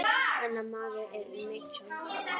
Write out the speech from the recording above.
Hennar maður er Michael Dal.